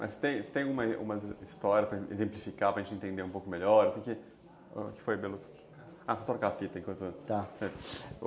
Mas tem tem alguma história para exemplificar, para a gente entender um pouco melhor, assim, que foi pelo... Ah, troca a fita enquanto... Tá.